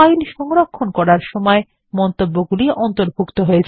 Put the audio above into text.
file সংরক্ষণ করার সময় মন্তব্যগুলি অন্তর্ভুক্ত হয়